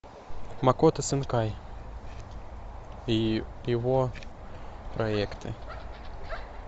макото синкай и его проекты